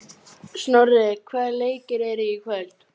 Hjalmar, slökktu á þessu eftir tuttugu og átta mínútur.